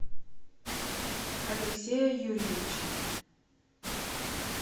алексея юрьевича